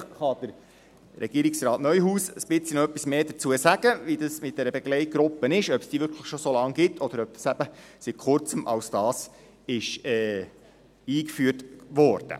Vielleicht kann Regierungsrat Neuhaus etwas mehr zur Begleitgruppe sagen, ob es diese wirklich schon so lange gibt oder ob sie seit Kurzem als solche eingeführt wurde.